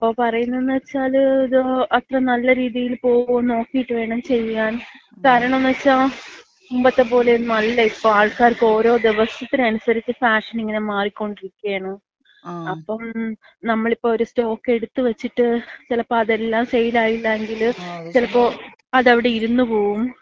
അപ്പ പറയുന്നതെന്ന് വെച്ചാല് അത്ര നല്ല രീതിയില് പോകോന്ന് നോക്കീട്ട് വേണം ചെയ്യാൻ. കാരണംന്ന് വച്ചാ മുമ്പത്തപ്പോലൊന്നും അല്ല ഇപ്പോ. ആൾക്കാർക്ക് ഇപ്പോ ഓരോ ദിവസത്തിനനുസരിച്ച് ഫാഷൻ ഇങ്ങനെ മാറിക്കോണ്ടിരിക്കയാണ്. അപ്പം നമ്മളിപ്പോ ഒര് സ്റ്റോക്ക് എടുത്ത് വച്ചിട്ട് ചെലപ്പോ അതെല്ലാം സെയിലായില്ലങ്കില് ചെലപ്പോ അതവിടെ ഇരുന്ന്പോവും.